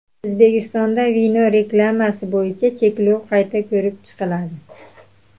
O‘zbekistonda vino reklamasi bo‘yicha cheklov qayta ko‘rib chiqiladi.